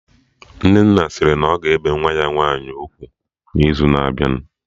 Nnenna sịrị na ọ ga-ebe nwa ya nwaanyị ugwu n'izu na-abịa